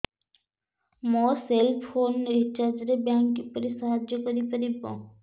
ମୋ cell phone recharge ରେ bank କିପରି ସାହାଯ୍ୟ କରିପାରିବ